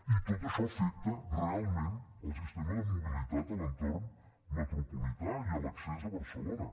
i tot això afecta realment el sistema de mobilitat a l’entorn metropolità i a l’accés a barcelona